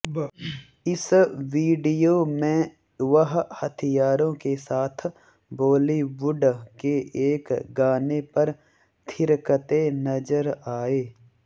इस वीडियो में वह हथियारों के साथ बॉलीवुड के एक गाने पर थिरकते नजर आए